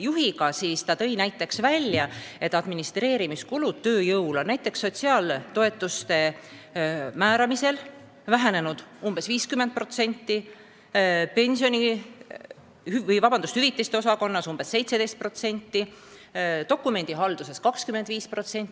juhiga ja ta tõi välja, et administreerimiskulud tööjõule on näiteks sotsiaaltoetuste määramisel vähenenud umbes 50%, hüvitiste osakonnas umbes 17%, dokumendihalduses 25%.